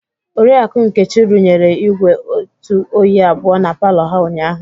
Oriakụ Nkechi rụnyere igwé Itu oyi abụọ na palọ ha ụnyahụ.